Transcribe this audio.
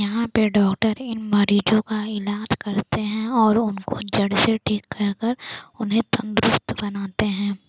यहाँ पे डॉक्टर इन मरीजों का इलाज करते है और उनको जड़ से ठीक कर कर उन्हे तंदुरुस्त बनाते है।